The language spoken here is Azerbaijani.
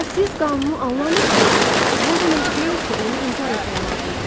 Əgər siz qanunu anlamırsınızsa, bu o demək deyil ki, onu inkar etmək lazımdır.